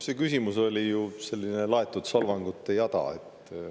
See küsimus oli ju selline laetud solvangute jada.